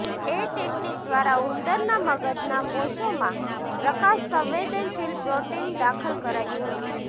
એ technique દ્વારા ઉંદરના મગજના કોષોમાં પ્રકાશ સંવેદનશીલ પ્રોટીન દાખલ કરાયું હતું